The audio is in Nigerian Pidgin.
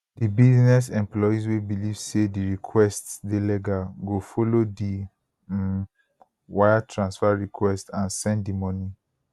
di business employees wey believe say di requests dey legal go follow di um wire transfer requests and send di money